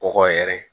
Kɔkɔ yɛrɛ